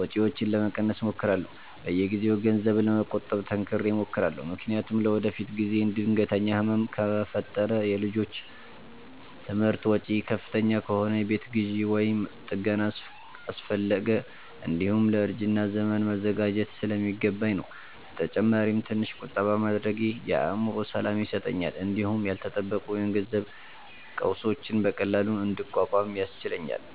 ወጪዎችን ለመቀነስ እሞክራለሁ። በየጊዜው ገንዘብ ለመቆጠብ ጠንክሬ እሞክራለሁ፤ ምክንያቱም ለወደፊት ጊዜ ድንገተኛ ህመም ከፈጠረ፣ የልጆች ትምህርት ወጪ ከፍተኛ ከሆነ፣ የቤት ግዢ ወይም ጥገና አስፈለገ፣ እንዲሁም ለእርጅና ዘመን መዘጋጀት ስለሚገባኝ ነው። በተጨማሪም ትንሽ ቁጠባ ማድረጌ የአእምሮ ሰላም ይሰጠኛል እንዲሁም ያልተጠበቁ የገንዘብ ቀውሶችን በቀላሉ እንድቋቋም ያስችለኛል